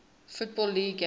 football league games